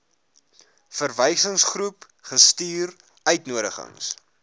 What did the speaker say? verwysingsgroep gestuur uitnodigings